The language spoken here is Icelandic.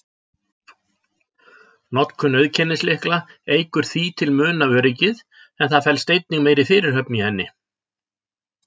Notkun auðkennislykla eykur því til muna öryggið, en það felst einnig meiri fyrirhöfn í henni.